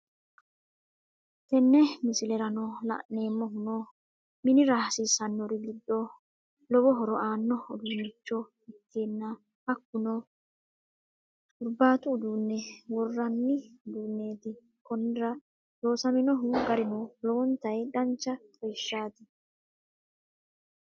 tenne miisileranno laanemohuno minnira hasisannori giido loowo hooro anno uuduncho ekkana hakkuno hurbattu uudune worinanni uudunetti koonira loosaminohu gaarino loowontayi daancha xaawishati.